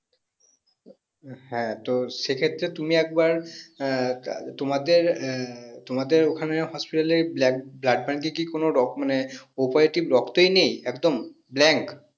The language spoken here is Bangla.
তো হ্যাঁ তো সেই ক্ষেত্রে তুমি একবার আহ তোমাদের আহ তোমাদের ওখানে hosptal এ ব্লা blood fantaty এ কি কোনো রক মানে o positive রক্তই নেই একদম blank